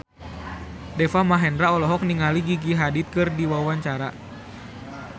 Deva Mahendra olohok ningali Gigi Hadid keur diwawancara